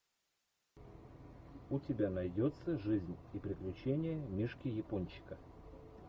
у тебя найдется жизнь и приключения мишки япончика